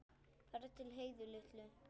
Farðu til Heiðu litlu.